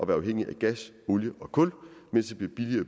være afhængig af gas olie og kul mens det bliver